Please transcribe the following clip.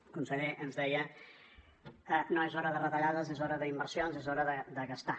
el conseller ens deia no és hora de retallades és hora d’inversions és hora de gastar